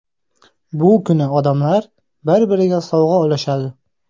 Bu kuni odamlar bir-biriga sovg‘a ulashadi.